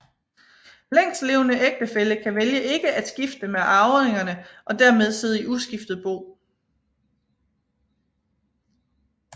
Længstlevende ægtefælle kan vælge ikke at skifte med arvingerne og dermed sidde i uskiftet bo